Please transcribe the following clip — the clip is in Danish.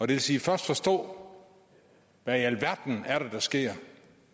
vil sige først forstå hvad i alverden det er der sker